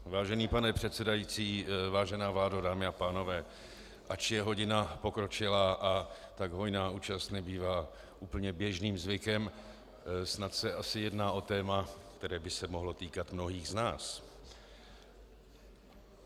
Vážený pane předsedající, vážená vládo, dámy a pánové, ač je hodina pokročilá a tak hojná účast nebývá úplně běžným zvykem, snad se asi jedná o téma, které by se mohlo týkat mnohých z nás.